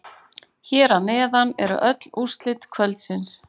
Hér að neðan eru öll úrslit kvöldsins.